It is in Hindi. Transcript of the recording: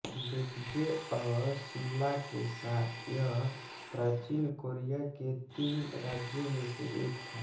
बेकजे और सिल्ला के साथ यह प्राचीन कोरिया के तीन राज्यों में से एक था